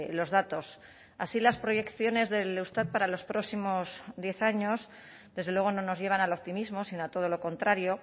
los datos así las proyecciones del eustat para los próximos diez años desde luego no nos llevan al optimismo sino a todo lo contrario